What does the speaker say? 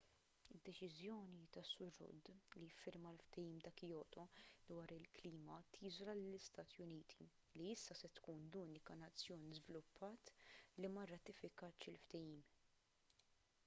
id-deċiżjoni tas-sur rudd li jiffirma l-ftehim ta' kyoto dwar il-klima tiżola lill-istati uniti li issa se tkun l-unika nazzjon żviluppat li ma rratifikatx il-ftehim